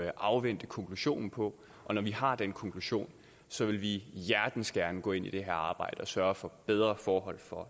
at afvente konklusionen på når vi har den konklusion så vil vi hjertens gerne gå ind i det her arbejde og sørge for bedre forhold for